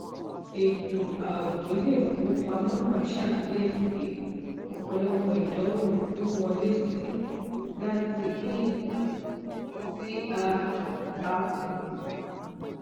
ètò ààbò iléìfowópamọ náà ṣàkíyèsí ọpọlọpọ ìdánwò wíwọlésí láti ip tí a a kò mọ